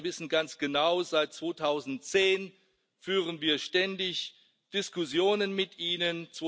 Herr Orbán, Sie wissen ganz genau Seit 2010 führen wir ständig Diskussionen mit Ihnen.